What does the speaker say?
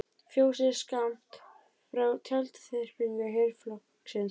Fjósið er skammt frá tjaldþyrpingu herflokksins.